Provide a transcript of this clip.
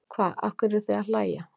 Hva, af hverju eruð þið að hlæja.